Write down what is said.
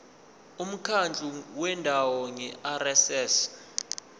umkhandlu wendawo ngerss